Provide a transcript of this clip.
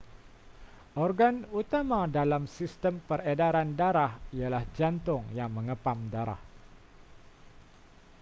organ utama dalam sistem peredaran darah ialah jantung yang mengepam darah